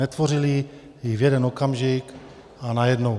Netvořili ji v jeden okamžik a najednou.